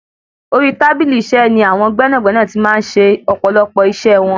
Orí tábìlì iṣẹ́ ní àwọn gbẹ́nàgbẹ́nà ti máa ń ṣe ọ̀pọ̀lọpọ̀ iṣẹ wọn.